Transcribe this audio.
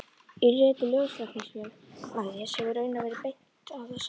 Í riti Ljóstæknifélagsins hefur raunar verið bent á það sama.